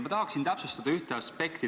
Ma tahaksin täpsustada ühte aspekti.